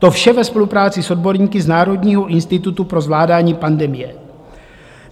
To vše ve spolupráci s odborníky z Národního institutu pro zvládání pandemie.